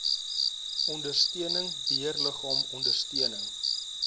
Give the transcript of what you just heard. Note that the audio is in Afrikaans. ondersteuning beheerliggaam ondersteuning